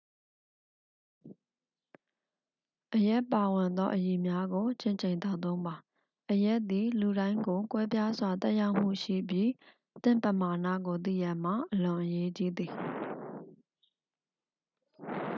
အရက်ပါဝင်သော အရည်များကို ချင့်ချိန်သောက်သုံးပါ အရက်သည် လူတိုင်းကို ကွဲပြားစွာ သက်ရောက်မှုရှိပြီး သင့်ပမာဏကို သိရန်မှာ အလွန်အရေးကြီးသည်